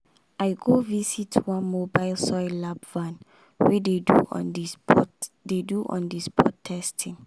i go visit one mobile soil lab van wey dey do on-the-spot dey do on-the-spot testing.